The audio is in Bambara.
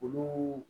Olu